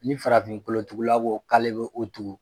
Ni farafin kolotugula bo k'ale bɛ o tugu